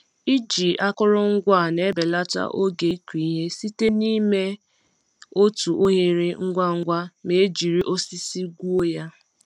Iji akụrụngwa a na-ebelata oge ịkụ ihe site n'ime otu oghere ngwa ngwa ma e jiri osisi gwuo ya.